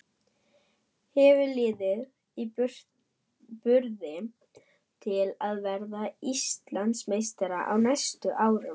Hefur liðið burði til að verða Íslandsmeistari á næstu árum?